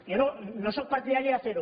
jo no sóc partidari de fer ho